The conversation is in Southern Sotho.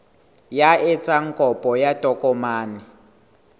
ya etsang kopo ya tokomane